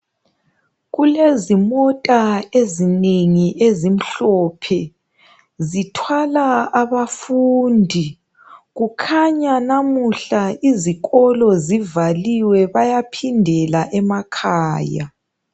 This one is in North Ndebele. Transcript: Kulezimota ezinengi ezimhlophe zithwala abafundi kukhanya namuhla izikolo zivaliwe bayaphindela emakhaya.